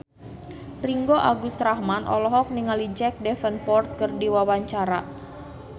Ringgo Agus Rahman olohok ningali Jack Davenport keur diwawancara